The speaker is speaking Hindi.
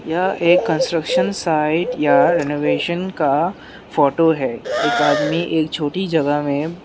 यह एक कंस्ट्रक्शन साइट या रिनोवेशन का फोटो है एक आदमी एक छोटी जगह में --